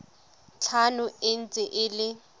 tlhano e ntse e le